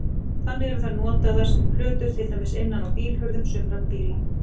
Þannig eru þær notaðar sem plötur til dæmis innan á bílhurðum sumra bíla.